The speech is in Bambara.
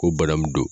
Ko bana min don